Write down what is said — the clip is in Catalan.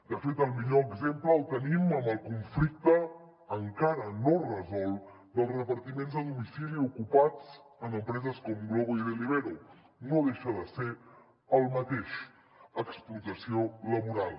de fet el millor exemple el tenim en el conflicte encara no resolt dels repartiments a domicili ocupats en empreses com glovo i deliveroo no deixa de ser el mateix explotació laboral